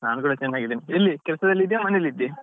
ನಾನ್ ಕೂಡ ಚೆನ್ನಾಗಿದ್ದೇನೆ ಎಲ್ಲಿ ಕೆಲ್ಸದಲ್ಲಿ ಇದ್ದೀಯಾ ಮನೇಲಿ ಇದ್ದೀಯಾ?